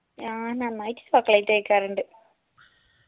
ആ നന്നായിട്ട് chocolate കഴിക്കാറുണ്ട്